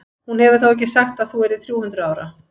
Hún hefur þó ekki sagt að þú yrðir þrjú hundruð ára?